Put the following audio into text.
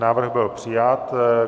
Návrh byl přijat.